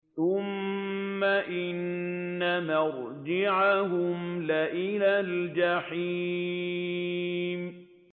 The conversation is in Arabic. ثُمَّ إِنَّ مَرْجِعَهُمْ لَإِلَى الْجَحِيمِ